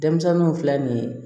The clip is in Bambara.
Denmisɛnninw filɛ nin ye